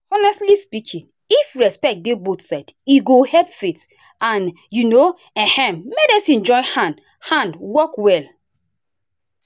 honestly speaking if respect dey both sides e go help faith and um ehm medicine join hand hand work well.